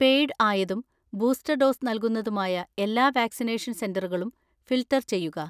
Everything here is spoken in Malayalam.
പെയ്ഡ് ആയതും ബൂസ്റ്റർ ഡോസ് നൽകുന്നതുമായ എല്ലാ വാക്സിനേഷൻ സെന്ററുകളും ഫിൽട്ടർ ചെയ്യുക.